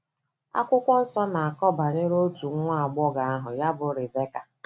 Akwụkwọ nsọ na - akọ banyere otu nwa agbọghọ aha ya bụ Ribeka.